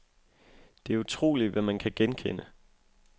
Det er utroligt, hvad man kan genkende.